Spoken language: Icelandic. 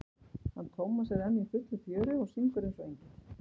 hann Tómas er enn í fullu fjöri og syngur eins og engill.